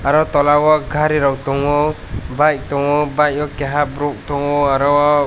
o tola o gari rok tango bike tango bike o keha borok tango aro o.